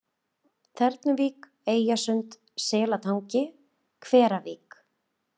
Þernuvík, Eyjasund, Selatangi, Hveravík